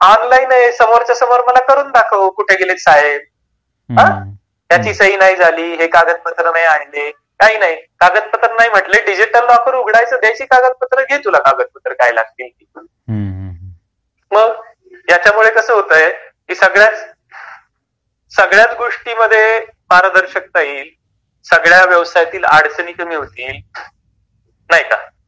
ऑनलाइन.आहे समोरच्या समोर करून दाखव मला कुठे गेले साहेब ? हां त्याची सही नाही झाली हे कागदपत्र आहे ते कागदपत्र नाही म्हटले डिजिटल लॉकर उघडा घे तुला जी कागदपत्र लागतील. मग याच्यामुळे कस होतय, सगळ्याच गोष्टींमध्ये पारदर्शकता येईल, सगळ्याच व्यवसायातील अडचणी दूर होतील, नाही का ?